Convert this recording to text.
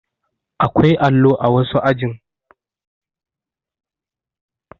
Akwai allo a wasu ajin